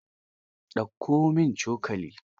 Ɗauko min cokali.